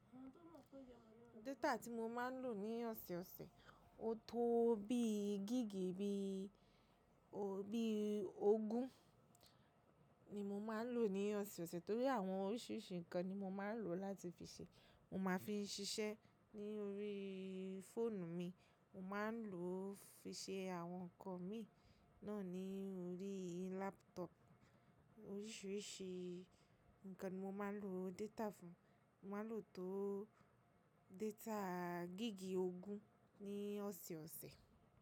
Dáta tí mo máa ń lò ní ọ̀se-ọ̀sẹ̀, ó tó bí giígi bí ó bí ogún ni mo máa ń lò ní ọ̀se-ọ̀sẹ̀ torí àwọn oríṣìíríṣìí ǹnkan ni mo máa ń lò láti fi ṣe. Mo máa fi ń ṣiṣẹ́ ní orí fóònù mi, mo máa ń lò ó fi ṣe àwọn ǹnkan mi náà ní orí lápútọ̀ọ̀puù. Oríṣìíríṣìí ǹnkan ni mo máa ń lò data fún. Mo máa ń lò tó data gíigi ogún ní ọ̀se-ọ̀sẹ̀